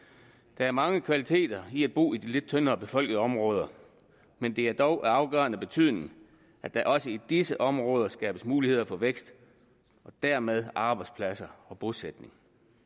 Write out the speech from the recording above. der er mange kvaliteter i at bo i de lidt tyndere befolkede områder men det er dog af afgørende betydning at der også i disse områder skabes muligheder for vækst og dermed arbejdspladser og bosætning